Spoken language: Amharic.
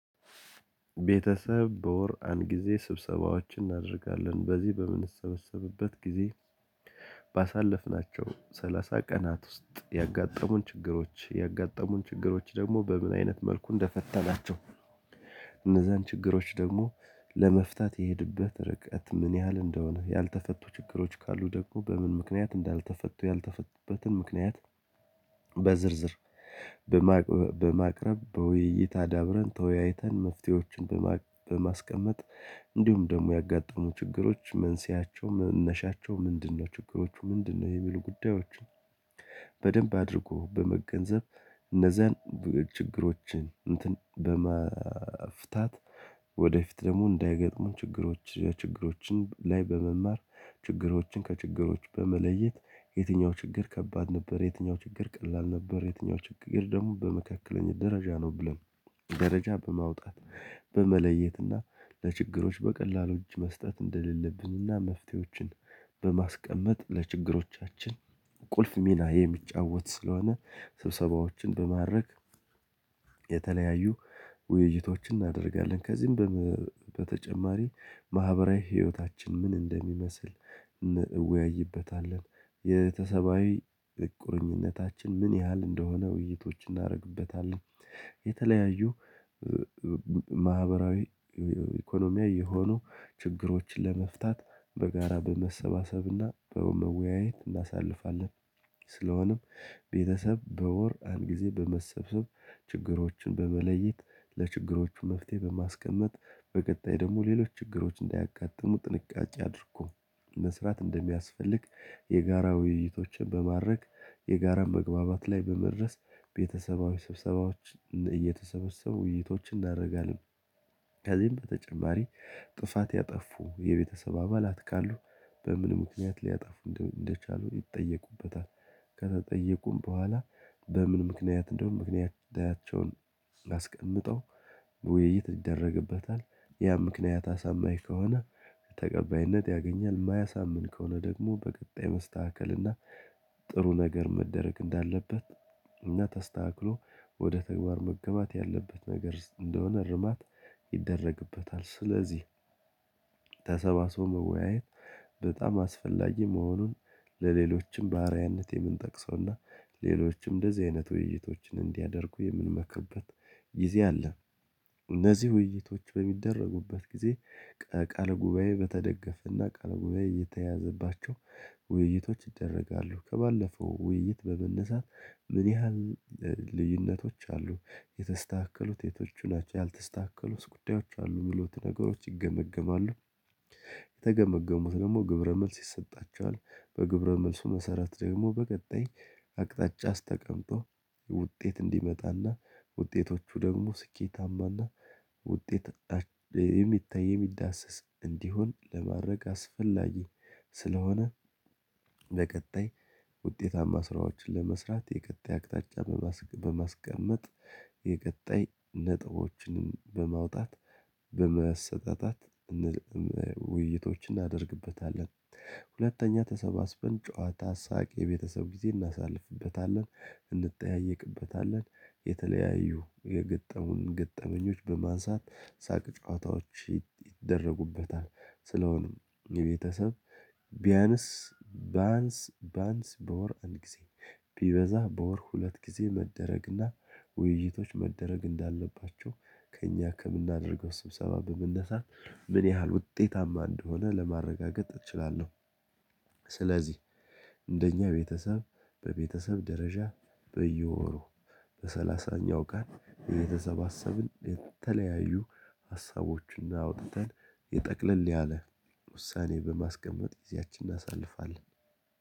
ቤተሰብ በወር አንድ ጊዜ ስብሰባዎችን እናደርጋለን በዚህ በምንሰበሰብበት ጊዜ ባሳለፍናቸው ሰላሳ ቀናት ውስጥ ያጋጠሙን ችግሮች ያጋጠሙን ችግሮች ደግሞ በምን አይነት መልኩ እንደፈተናቸው። እነዛን ችግሮች ደግሞ ለመፍታት የሄድበት ርቀት ምን ያህል እንደሆነ ያልተፈቱ ችግሮች ካሉ ደግሞ በምን ምክንያት እንዳልተፈቱ ያልተፈቱበትን ምክንያት በዝርዝር በማቅረብ በውይይት አዳብረን ተወያይተን መፍትሄዎችን በማስቀመጥ እንዲሁም ደግሞ ያጋጠሙ ችግሮች መንስኤያቸው መነሻቸው ምንድነው? ችግሮቹ ምንድነው? የሚሉ ጉዳዮችን በደንብ አድርጎ በመገንዘብ እነዛን ችግሮችን እንትን በመፍታት ወደፊት ደግሞ እንዳይገጥሙ ችግሮች ችግሮችን ላይ በመማር ችግሮችን ከችግሮች በመለየት የትኛው ችግር ከባድ ነበር። የትኛው ችግር ቀላል ነበር። የትኛው ችግር ደግሞ በመካከለኛው ደረጃ ነው። ብለን ደረጃ በማውጣት በመለየት እና ለችግሮች በቀላሉ እጅ መስጠት እንደሌለብን እና መፍትሄዎችን በማስቀመጥ ለችግሮቻችን ቁልፍ ሚና የሚጫወት ስለሆነ ስብሰባዎችን በማረግ የተለያዩ ውይይቶችን እናደርጋለን ከዚህም በተጨማሪ ማህበራዊ ህይወታችን ምን እንደሚመስል እንወያይበታለን። የተሰባዊ ቁርኝነታችን ምን ያህል እንደሆነ ውይይቶች እናደርግበታለን። የተለያዩ ማህበራዊ ኢኮኖሚያ የሆኑ ችግሮችን ለመፍታት በጋራ በመሰባሰብና በመወያየት እናሳልፋለን። ስለሆነም ቤተሰብ በወር አንድ ጊዜ በመሰብሰብ ችግሮችን በመለየት ለችግሮቹ መፍትሄ በማስቀመጥ በቀጣይ ደግሞ ሌሎች ችግሮች እንዳያቃጥሙ ጥንቃቄ አድርጎ መስራት እንደሚያስፈልግ የጋራ ውይይቶችን በማረግ የጋራን መግባባት ላይ በመድረስ ቤተሰባዊ ስብሰባዎች እየተሰበሰቡ ውይይቶች እናደርጋለን። ከዚህም በተጨማሪ ጥፋት ያጠፉ የቤተሰብ አባላት ካሉ በምን ምክንያት ሊያጠፉ እንደቻሉ ይጠየቁበታል። ከተጠየቁም በኋላ በምን ምክንያት እንደውም ምክንያታቸውን አስቀምጠው ውይይት ይደረግበታል። ያ ምክንያት አሳማኝ ከሆነ ተቀባይነት ያገኛል። የማያሳምን ከሆነ ደግሞ በቀጣይ መስተካከል እና ጥሩ ነገር መደረግ እንዳለበት እና ተስተካክሎ ወደ ተግባር መገባት ያለበት ነገር እንደሆነ ርማት ይደረግበታል። ስለዚህ ተሰባስቦ መወያየት በጣም አስፈላጊ መሆኑን ለሌሎችም ባሪያነት የምንጠቅሰውና ሌሎችም እንደዚህ አይነት ውይይቶችን እንዲያደርጉ የምንመከበት ጊዜ አለ። እነዚህ ውይይቶች በሚደረጉበት ጊዜ ቃል ጉባኤ በተደገፈና ቃል ጉባኤ እየተያዘባቸው ውይይቶች ይደረጋሉ። ከባለፈው ውይይት በመነሳት ምን ያህል ልዩነቶች አሉ? የተስተካከሉት ቴቶቹ ናቸው ያልተስተካከሉት ጉዳዮች አሉ የሚሉት ነገሮች ይገመግማሉ። የተገመገሙት ደግሞ ግብረ መልስ ይሰጣቸዋል። በግብረ መልሱ መሰረት ደግሞ በቀጣይ አቅጣጫ ስተቀምጦ ውጤት እንዲመጣና ውጤቶቹ ደግሞ ስኬታማና ውጤት የሚታይ የሚዳስስ እንዲሆን ለማድረግ አስፈላጊ ስለሆነ። በቀጣይ ውጤታማ ስራዎችን ለመስራት የቀጣይ አቅጣጫ በማስቀመጥ የቀጣይ ነጥቦችን በማውጣት በመሰጠጣት ውይይቶችን እናደርግበታለን። ሁለተኛ ተሰባስበን ጨዋታ ሳቅ የቤተሰብ ጊዜ እናሳልፍበታለን እንጠያየቅበታለን የተለያዩ የገጠሙን ገጠመኞች በማንሳት ሳቅ ጨዋታዎች ይደረጉበታል። ስለሆነም የቤተሰብ ቢያንስ ባንስ ባንስ በወር አንድ ጊዜ ቢበዛ በወር ሁለት ጊዜ መደረግና ውይይቶች መደረግ እንዳለባቸው ከእኛ ከምናደርገው ስብሰባ በመነሳት ምን ያህል ውጤታማ እንደሆነ ለማረጋገጥ እችላለሁ። ስለዚህ እንደኛ ቤተሰብ በቤተሰብ ደረጃ በየወሩ በሰላሳኛው ቀን እየተሰባሰብን የተለያዩ ሀሳቦችን አውጥተን የጠቅለል ያለ ውሳኔ በማስቀመጥ ይዛችን እናሳልፋለን።